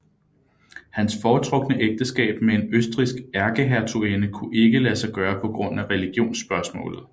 Hans foretrukne ægteskab med en østrigsk ærkehertuginde kunne ikke lade sig gøre på grund af religionsspørgsmålet